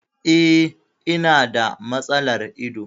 E, ina da matsalar ido.